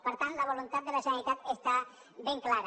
per tant la voluntat de la generalitat està ben clara